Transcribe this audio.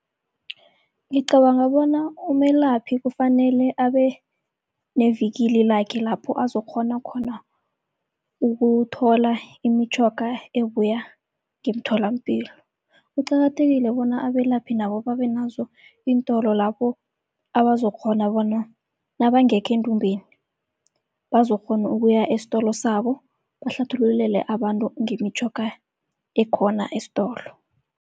Ngicabanga bona umelaphi kufanele abe nevikili lakhe lapho azokghona khona ukuthola imitjhoga ebuya ngemtholampilo. Kuqakathekile bona abelaphi nabo babe nazo iintolo lapho abazokukghona bona nabangekho endumbeni, bazokukghona ukuya estolo sabo bahlathululele abantu ngemitjhoga ekhona estolo.